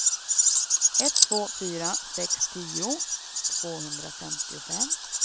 ett två fyra sex tio tvåhundrafemtiofem